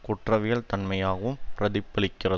குற்றவியல் தன்மையாவும் பிரதிபலிக்கிறது